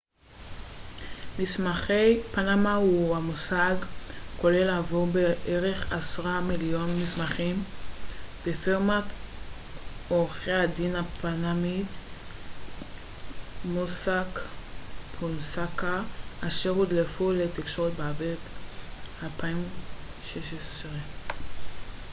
מסמכי פנמה הוא מושג כולל עבור בערך עשרה מיליון מסמכים מפירמת עורכי הדין הפנמית מוסאק פונסקה אשר הודלפו לתקשורת באביב 2016